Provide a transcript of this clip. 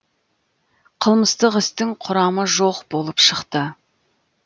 қылмыстық істің құрамы жоқ болып шықты